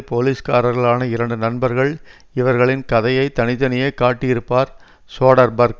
போலீஸ்காரர்களான இரண்டு நண்பர்கள் இவர்களின் கதையை தனி தனியே காட்டியிருப்பார் சோடர்பர்க்